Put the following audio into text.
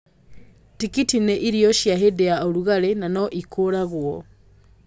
Tikiti nĩ irio cia hĩndĩ ya ũrugarĩ na no ikũragwo